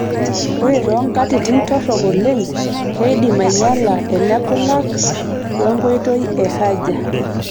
Ore too nkatitin torok oleng',keidim ainyala enekulak wenkoitoi e haja.